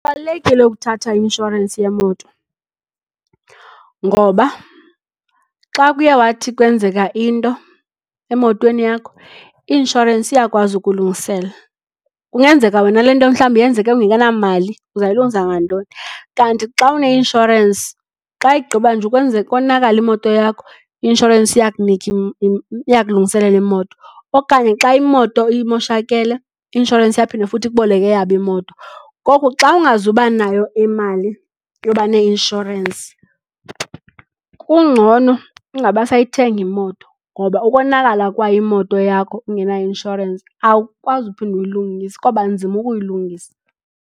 Kubalulekile ukuthatha i-inshorensi yemoto ngoba xa kuye wathi kwenzeka into emotweni yakho i-inshorensi iyakwazi ukulungisela. Kungenzeka wena le nto mhlawumbi yenzeke ungenamali uzawuyilungisa ngantoni? Kanti xa une-inshorensi, xa igqiba nje ukonakala imoto yakho i-inshorensi iyakunika iya kulungiselela imoto. Okanye xa imoto imoshakele i-inshorensi iyaphinda futhi ikuboleke eyabo imoto. Ngoku xa ungazuba nayo imali yoba ne-inshorensi kungcono ungabi sayithenga imoto ngoba ukonakala kwayo imoto yakho ungena-inshorensi awukwazi uphinda uyilungise kwaba nzima ukuyilungisa.